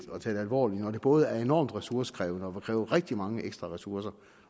alvorligt når det både er enormt ressourcekrævende og vil kræve rigtig mange ekstra ressourcer